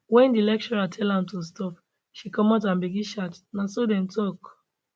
wen di lecturer tell am to stop she comot and begin shout na so dem tok